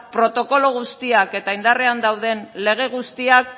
protokolo guztiak eta indarrean dauden lege guztiak